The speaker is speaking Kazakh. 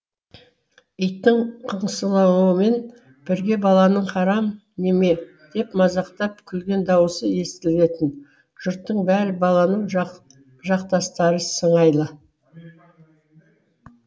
иттің қыңсылауымен бірге баланың харам неме деп мазақтап күлген даусы естілетін жұрттың бәрі баланың жақтастары сыңайлы